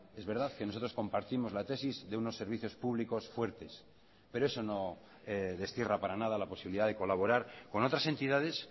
es verdad que nosotros compartimos la tesis de unos servicios públicos fuertes pero eso no destierra para nada la posibilidad de colaborar con otras entidades